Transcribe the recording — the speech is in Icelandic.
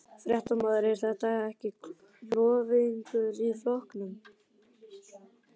Fréttamaður: Er þetta klofningur í flokknum?